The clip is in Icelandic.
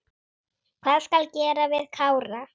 Hvað skal gera við Kára?